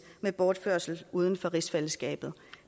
med bortførelse uden for rigsfællesskabet